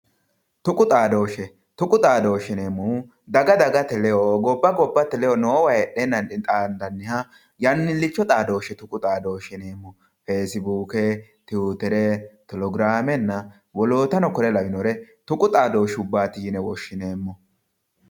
Tuqu xaadooshshe. tuqu xaadooshshe yineemmohu daga dagate ledo gobba gobbate ledo noowa heedheennanni xaandanniha yannillicho xaadooshshe tuqu xaadooshshe yineemmo feesibuuke tiyuutere telegiraamenna wolootano kore lawinore tuqu xaadooshsheeti yine woshshineemmo